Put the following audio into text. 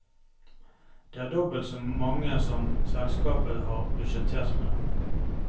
Det er dobbelt så mange som selskapet har budsjettert med.